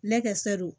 Ne ka se